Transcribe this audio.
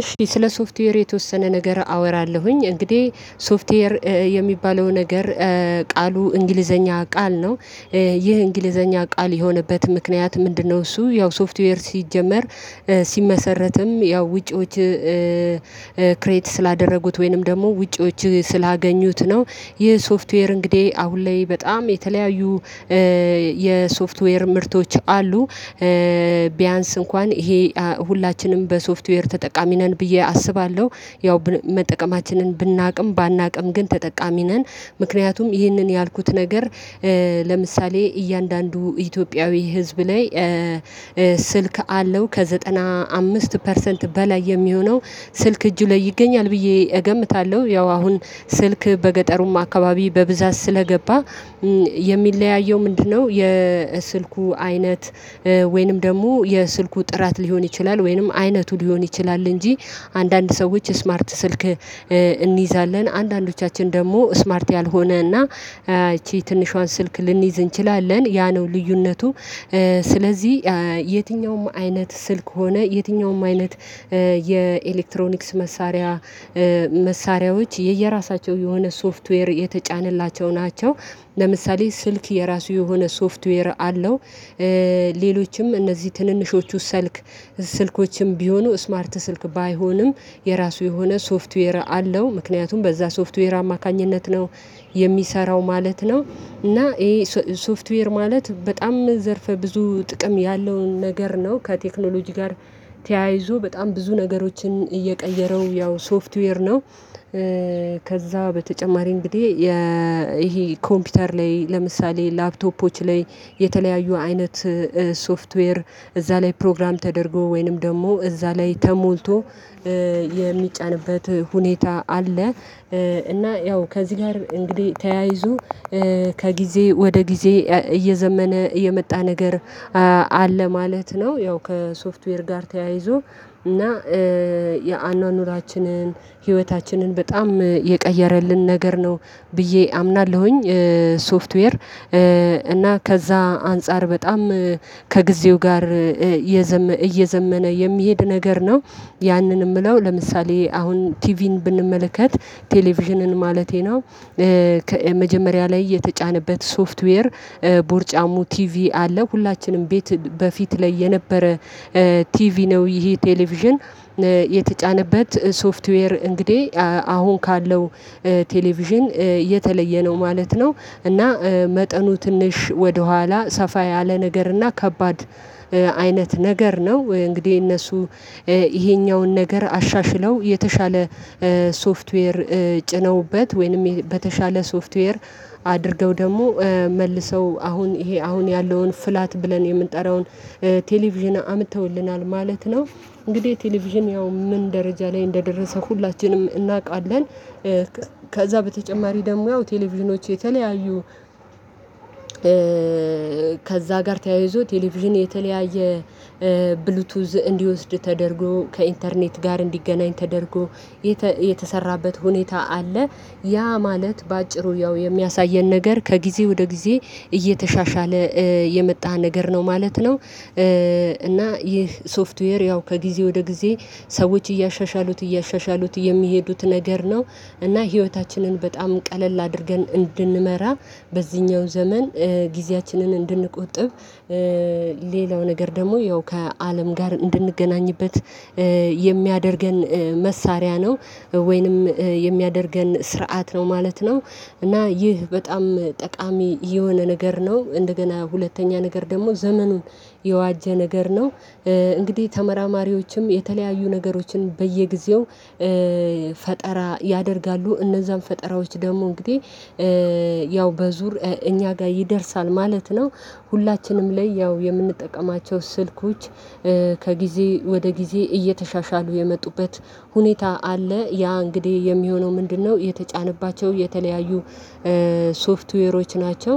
እሺ ስለ ሶፍትዌር የተወሰነ ነገር አወራለሁኝ እንግዲህ ሶፍትዌር የሚባለው ነገር ቃሉ እንግሊዘኛ ቃል ነው። ይህ እንግሊዘኛ ቃል የሆነበት ምክንያት ምንድነው? እሱ ያው ሶፍትዌር ሲጀመር ሲመሰረትም ያው ውጪዎች ክሬት ስላደረጉት ወይንም ደግሞ ውጪዎች ስላገኙት ነው። ይህ ሶፍትዌር እንግዲህ አሁን ላይ በጣም የተለያዩ የሶፍትዌር ምርቶች አሉ። ቢያንስ እንኳን ይሄ ሁላችንም በሶፍትዌር ተጠቃሚ ነን ብዬ አስባለሁ ያው መጠቀማችንን ብናቅም ባናቅም ግን ተጠቃሚ ነን። ምክንያቱም ይህንን ያልኩት ነገር ለምሳሌ እያንዳንዱ ኢትዮጵያዊ ህዝብ ላይ ስልክ አለው ከዘጠና አምስት ፐርሰንት በላይ የሚሆነው ስልክ እጁ ላይ ይገኛል ብዬ እገምታለሁ ያው አሁን ስልክ በገጠሩም አካባቢ በብዛት ስለገባ የሚለያየው ምንድነው? የስልኩ አይነት ወይንም ደግሞ የስልኩ ጥራት ሊሆን ይችላል ወይንም አይነቱ ሊሆን ይችላል። እንጂ አንዳንድ ሰዎች ስማርት ስልክ እንይዛለን አንዳንዶቻችን ደግሞ ስማርት ያልሆነና ይቺ ትንሿን ስልክ ልንይዝ እንችላለን ያ ነው ልዩነቱ። ስለዚህ የትኛውም አይነት ስልክ ሆነ የትኛውም አይነት የኤሌክትሮኒክስ መሳሪያ መሳሪያዎች የየራሳቸው የሆነ ሶፍትዌር የተጫነላቸው ናቸው። ለምሳሌ ስልክ የራሱ የሆነ ሶፍትዌር አለው። ሌሎችም እነዚህ ትንንሾቹ ሰልክ ስልኮችም ቢሆኑ ስማርት ስልክ ባይሆንም የራሱ የሆነ ሶፍትዌር አለው ምክንያቱም በዛ ሶፍትዌር አማካኝነት ነው የሚሰራው ማለት ነው። እና ይሄ ሶፍትዌር ማለት በጣም ዘርፈ ብዙ ጥቅም ያለውን ነገር ነው ከቴክኖሎጂ ጋር ተያይዞ በጣም ብዙ ነገሮችን እየቀየረው ያው ሶፍትዌር ነው። ከዛ በተጨማሪ እንግዲህ ይሄ ኮምፒውተር ላይ ለምሳሌ ላፕቶፖች ላይ የተለያዩ አይነት ሶፍትዌር እዛ ላይ ፕሮግራም ተደርጎ ወይንም ደግሞ እዛ ላይ ተሞልቶ የሚጫንበት ሁኔታ አለ። እና ያው ከዚህ ጋር እንግዲህ ተያይዞ ከጊዜ ወደ ጊዜ እየዘመነ እየመጣ ነገር አለ ማለት ነው። ያው ከሶፍትዌር ጋር ተያይዞ እና የአኗኗራችንን ህይወታችንን በጣም የቀየረልን ነገር ነው ብዬ አምናለሁኝ ሶፍትዌር እና ከዛ አንፃር በጣም ከጊዜው ጋር እየዘመነ የሚሄድ ነገር ነው። ያንን እምለው ለምሳሌ አሁን ቲቪን ብንመለከት ቴሌቪዥንን ማለቴ ነው። መጀመሪያ ላይ የተጫነበት ሶፍትዌር ቦርጫሙ ቲቪ አለ ሁላችንም ቤት በፊት ላይ የነበረ ቲቪ ነው ይሄ ቴሌቪዥን የተጫነበት ሶፍትዌር እንግዲህ አሁን ካለው ቴሌቪዥን የተለየ ነው። ማለት ነው እና መጠኑ ትንሽ ወደኋላ ሰፋ ያለ ነገር እና ከባድ አይነት ነገር ነው እንግዲህ እነሱ ይሄኛውን ነገር አሻሽለው የተሻለ ሶፍትዌር ጭነውበት ወይንም በተሻለ ሶፍትዌር አድርገው ደግሞ መልሰው አሁን ይሄ አሁን ያለውን ፍላት ብለን የምንጠራውን ቴሌቪዥን አምጠውልናል ማለት ነው። እንግዲህ ቴሌቪዥን ያው ምን ደረጃ ላይ እንደደረሰ ሁላችንም እናቃለን። ከዛ በተጨማሪ ደግሞ ያው ቴሌቪዥኖች የተለያዩ ከዛ ጋር ተያይዞ ቴሌቪዥን የተለያየ ብሉቱዝ እንዲወስድ ተደርጎ ከኢንተርኔት ጋር እንዲገናኝ ተደርጎ የተሰራበት ሁኔታ አለ። ያ ማለት በአጭሩ ያው የሚያሳየን ነገር ከጊዜ ወደ ጊዜ እየተሻሻለ የመጣ ነገር ነው ማለት ነው። እና ይህ ሶፍትዌር ያው ከጊዜ ወደ ጊዜ ሰዎች እያሻሻሉት እያሻሻሉት የሚሄዱት ነገር ነው። እና ህይወታችንን በጣም ቀለል አድርገን እንድንመራ በዚህኛው ዘመን ጊዜያችንን እንድንቆጥብ ሌላው ነገር ደግሞ ያው ከአለም ጋር እንድንገናኝበት የሚያደርገን መሳሪያ ነው። ወይንም የሚያደርገን ስርዓት ነው ማለት ነው። እና ይህ በጣም ጠቃሚ የሆነ ነገር ነው እንደገና ሁለተኛ ነገር ደግሞ ዘመኑን የዋጀ ነገር ነው። እንግዲህ ተመራማሪዎችም የተለያዩ ነገሮችን በየጊዜው ፈጠራ ያደርጋሉ እነዛን ፈጠራዎች ደግሞ እንግዲህ ያው በዙር እኛ ጋ ይደርሳል ማለት ነው። ሁላችንም ላይ ያው የምንጠቀማቸው ስልኮች ከጊዜ ወደ ጊዜ እየተሻሻሉ የመጡበት ሁኔታ አለ ያ እንግዲህ የሚሆነው ምንድነው የተጫነባቸው የተለያዩ ሶፍትዌሮች ናቸው።